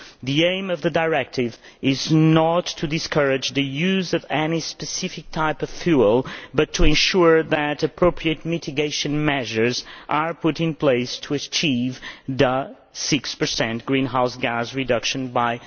The aim of the directive is not to discourage the use of any specific type of fuel but to ensure that appropriate mitigation measures are put in place to achieve the 6 greenhouse gas reduction target by